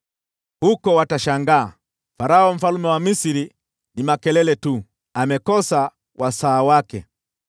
Huko watatangaza, ‘Farao mfalme wa Misri ni makelele tu, amekosa wasaa wake.’